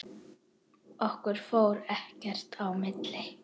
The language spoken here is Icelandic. Okkar fór ekkert í milli.